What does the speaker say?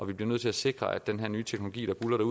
vi bliver nødt til at sikre at den her nye teknologi der buldrer